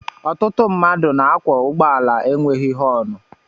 Ọtụtụ mmadụ na-akwọ ụgbọala enweghị họọnụ.